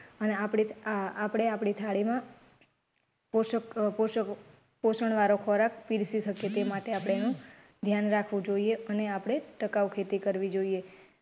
અને આપડે આપડી થાળી માં પોષક પોષક પોષણ વાળો ખોરાક પીરસી શકીએ તે માટે આપડે એનું ધ્યાન રાખવું જોઈએ અને આપડે ટકાવ ખેતી કરવી જોઈએ